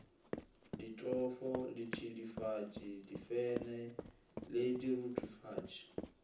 ditofo ditšidifatši difene le diruthufaši